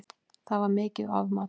Það var mikið ofmat